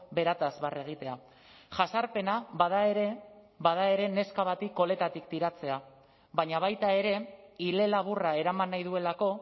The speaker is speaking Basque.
berataz barre egitea jazarpena bada ere bada ere neska bati koletatik tiratzea baina baita ere ile laburra eraman nahi duelako